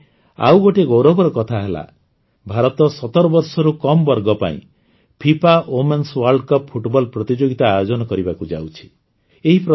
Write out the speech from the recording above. ମୋ ପାଇଁ ଆଉ ଗୋଟିଏ ଗୌରବର କଥା ହେଲା ଭାରତ ୧୭ ବର୍ଷରୁ କମ୍ ବର୍ଗ ପାଇଁ FIFA women's world cup football ପ୍ରତିଯୋଗିତା ଆୟୋଜନ କରିବାକୁ ଯାଉଛି